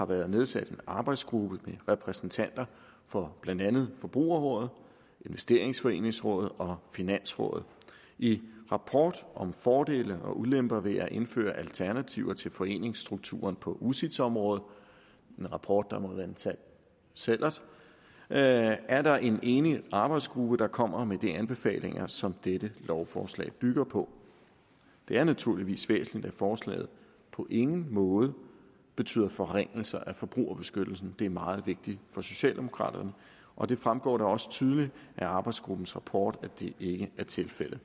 været nedsat en arbejdsgruppe med repræsentanter for blandt andet forbrugerrådet investeringsforeningsrådet og finansrådet i rapport om fordele og ulemper ved at indføre alternativer til foreningsstrukturen på ucits området en rapport der må være en sand sællert er er der en enig arbejdsgruppe der kommer med de anbefalinger som dette lovforslag bygger på det er naturligvis væsentligt at forslaget på ingen måde betyder forringelser af forbrugerbeskyttelsen det er meget vigtigt for socialdemokraterne og det fremgår da også tydeligt af arbejdsgruppens rapport at det ikke er tilfældet